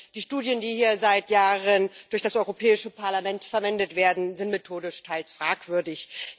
Die Studien, die hier seit Jahren durch das Europäische Parlament verwendet werden, sind methodisch teils fragwürdig.